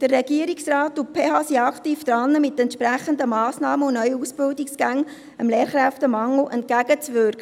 Der Regierungsrat und die Pädagogische Hochschule (PH) sind aktiv daran, dem Lehrkräftemangel mit entsprechenden Massnahmen und neuen Ausbildungsgängen entgegenzuwirken.